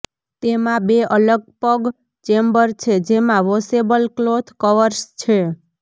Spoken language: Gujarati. તેમાં બે અલગ પગ ચેમ્બર છે જેમાં વોશેબલ ક્લોથ કવર્સ છે